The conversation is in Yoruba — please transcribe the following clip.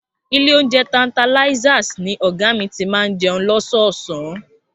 Ilé oúnjẹ Tantalizers ni ọ̀gá mi ti máa ń jẹun lọ́sọ̀ọ̀sán